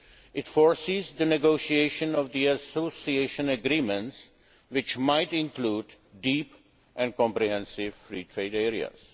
country. It foresees the negotiation of association agreements, which might include deep and comprehensive free trade